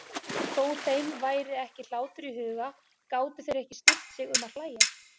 Þó þeim væri ekki hlátur í huga gátu þeir ekki stillt sig um að hlæja.